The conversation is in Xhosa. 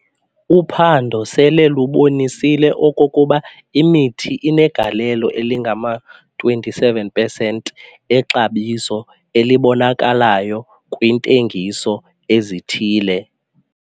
Uphando sele lubonisile okokuba imithi inegalelo elingama-27 pesenti exabiso elibonakalyo kwiintengiso ezithile.